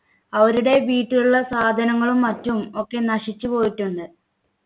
അവരുടെ വീട്ടിലുള്ള സാധനങ്ങളും മറ്റും ഒക്കെ നശിച്ചു പോയിട്ടുണ്ട്